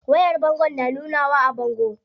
Wayar bangon na nunawa a bango?